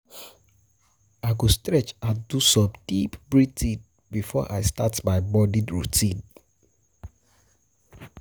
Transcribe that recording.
I go stretch and do some deep breathing before I start my morning routine.